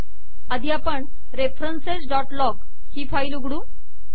आधी आपण referencesलॉग ही फाईल उघडू